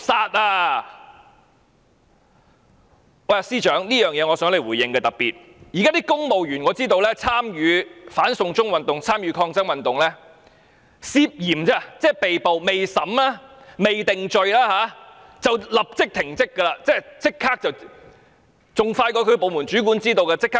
我特別希望司長回應：我知道公務員參與"反送中"抗爭運動被捕，但尚未審判定罪，也會被立即停職，比當事人的部門主管更早知道。